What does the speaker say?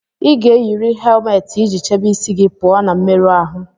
Ị ga-eyiri helmeeti iji chebe isi gị pụọ na mmerụ ahụ